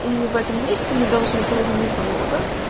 и в этом месте мы должны половину залога